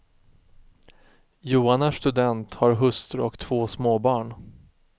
Johan är student, har hustru och två småbarn.